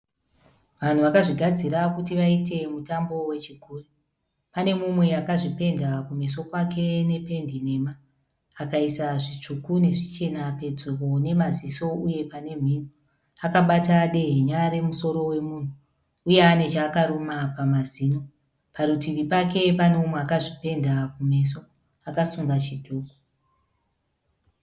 Vanhu vakazvigadzira kuti vaite mutambo wezvigure. Pane mumwe akazvipenda kumeso kwake nependi nhema akaisa zvitsvuku nezvichena pedyo nemaziso uye pane mhino. Akabata dehenya remusoro wemunhu uye ane chaakaruma pamazino. Parutivi pake pane umwe akazvipenda kumeso akasunga chidhuku.